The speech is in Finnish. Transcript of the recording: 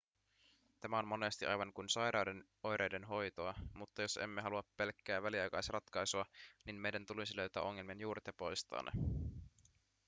tämä on monesti aivan kuin sairauden oireiden hoitoa mutta jos emme halua pelkkää väliaikaisratkaisua niin meidän tulisi löytää ongelmien juuret ja poistaa ne